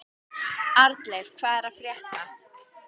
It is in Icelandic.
Arnleif, hvað er að frétta?